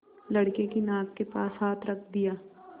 लड़के की नाक के पास हाथ रख दिया